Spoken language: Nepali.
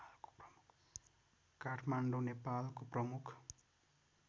काठमाडौँ नेपालको प्रमुख